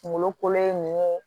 Kunkolo kolo ye nun ye